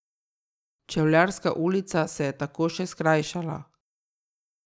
Čevljarska ulica se je tako še skrajšala.